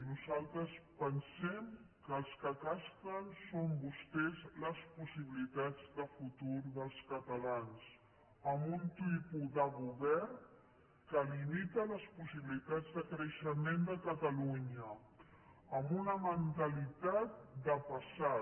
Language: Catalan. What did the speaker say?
nosaltres pensem que els que castren són vostès les possibilitats de futur dels catalans amb un tipus de govern que limita les possibilitats de creixement de catalunya amb una mentalitat de passat